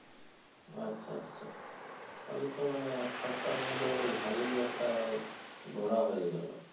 আচ্ছা আচ্ছা তাহলে তো মানে এক সপ্তাহের মধ্যে বেশ ভালই একটা ঘোরা হয়ে গেলো